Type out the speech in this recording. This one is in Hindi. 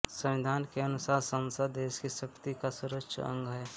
संविधान के अनुसार संसद देश की शक्ति का सर्वोच्च अंग है